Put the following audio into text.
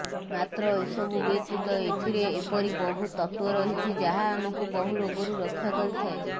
ମାତ୍ର ଏସବୁ ବ୍ୟତୀତ ଏଥିରେ ଏପରି ବହୁ ତତ୍ତ୍ୱ ରହିଛି ଯାହା ଆମକୁ ବହୁ ରୋଗରୁ ରକ୍ଷା କରିଥାଏ